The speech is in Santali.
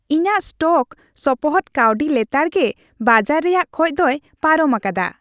ᱤᱧᱟᱹᱜ ᱥᱴᱚᱠ ᱥᱚᱯᱚᱦᱚᱫ ᱠᱟᱹᱣᱰᱤ ᱞᱮᱛᱟᱲᱜᱮ ᱵᱟᱡᱟᱨ ᱨᱮᱭᱟᱜ ᱠᱷᱚᱡ ᱫᱚᱭ ᱯᱟᱨᱚᱢ ᱟᱠᱟᱫᱟ ᱾